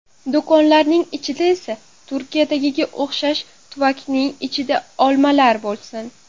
Do‘konlarining ichida esa Turkiyadagiga o‘xshab, tuvakning ichida olmalar bo‘lsin.